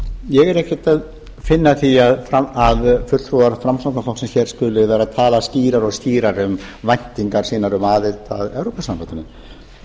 ég er ekkert að finna að því að fulltrúar framsóknarflokksins hér skuli vera að tala skýrar og skýrar um væntingar sínar um aðild að evrópusambandinu